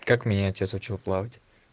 как меня отец учил плавать